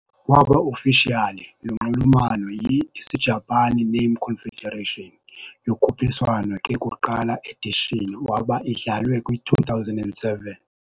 Kwaba officially lunxulumano yi - Isijapani Name Confederation. yokhuphiswano ke kuqala edition waba idlalwe kwi-2007.